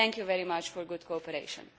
Thank you very much for your cooperation.